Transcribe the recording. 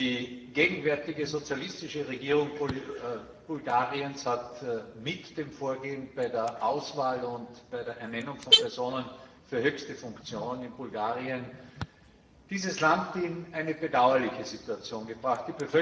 Die gegenwärtige sozialistische Regierung Bulgariens hat mit ihrem Vorgehen bei der Auswahl und bei der Ernennung von Personen für höchste Funktionen in Bulgarien dieses Land in eine bedauerliche Situation gebracht.